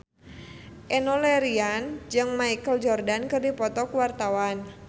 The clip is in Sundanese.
Enno Lerian jeung Michael Jordan keur dipoto ku wartawan